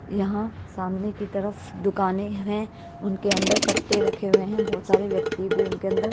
यहाँ सामने की तरफ दुकानें हैं उनके अंदर कट्टे रखे हुए हैं बहोत सारे व्यक्ति भी उनके अंदर--